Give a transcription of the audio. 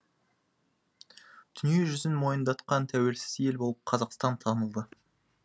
дүниежүзін мойындатқан тәуелсіз ел болып қазақстан танылды